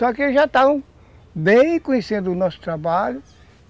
Só que eles já estavam bem conhecendo o nosso trabalho.